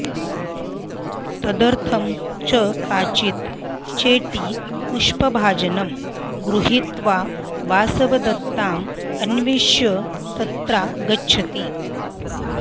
तदर्थं च काचित् चेटी पुष्पभाजनं गृहीत्वा वासवदत्ताम् अन्विष्य तत्रागच्छति